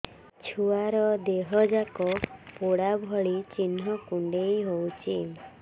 ଛୁଆର ଦିହ ଯାକ ପୋଡା ଭଳି ଚି଼ହ୍ନ କୁଣ୍ଡେଇ ହଉଛି